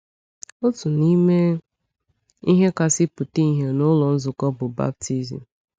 Otu n’ime ihe kasị pụta ìhè n’ụlọ nzukọ bụ baptism.